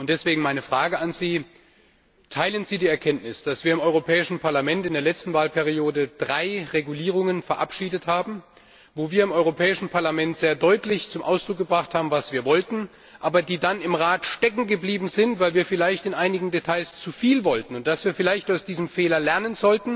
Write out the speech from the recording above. Deswegen meine Frage an Sie Teilen Sie die Erkenntnis, dass wir im Europäischen Parlament in der letzten Wahlperiode drei Verordnungen verabschiedet haben, bei denen wir im Europäischen Parlament sehr deutlich zum Ausdruck gebracht haben, was wir wollten, die aber dann im Rat steckengeblieben sind, weil wir vielleicht in einigen Details zu viel wollten, und dass wir vielleicht aus diesem Fehler lernen